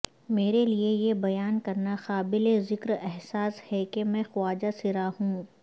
میرے لیے یہ بیان کرنا قابل ذکر احساس ہے کہ میں خواجہ سرا ہوں